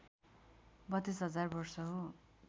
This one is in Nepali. ३२ हजार वर्ष हो